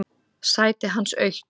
Sætið hans autt.